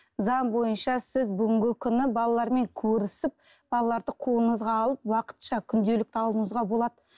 заң бойынша сіз бүгінгі күні балалармен көрісіп балаларды қолыңызға алып уақытша күнделікті алуыңызға болады